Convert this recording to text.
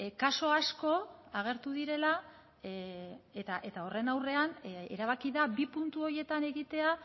kasu asko agertu direla eta horren aurrean erabaki da bi puntu horietan egitea